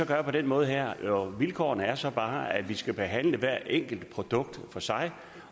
gøre på den måde her vilkårene er så bare at vi skal behandle hvert enkelt produkt for sig